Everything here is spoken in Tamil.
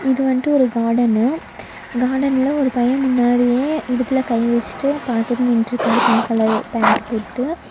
இது வந்டு ஒரு காடனு காடன்ல ஒரு பைய முன்னாடியே இடுப்புல கை வெச்சிட்டு பாத்துட்டு நின்ட்ருக்கா பிங்க் கலர் பேன்ட்டு போட்டு.